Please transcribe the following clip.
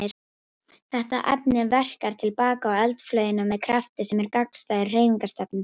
Þetta efni verkar til baka á eldflaugina með krafti sem er gagnstæður hreyfingarstefnu þess.